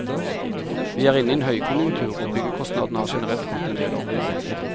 Vi er inne i en høykonjunktur, og byggekostnadene har generelt gått endel opp.